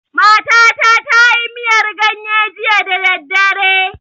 Matata ta yi miyar ganye jiya da daddare.